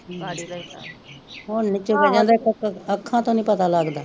ਹੁਣ ਨੀ ਚੁਗਿਆ ਜਾਂਦਾ ਅੱਖਾਂ ਤੋਂ ਨੀ ਪਤਾ ਲਗਦਾ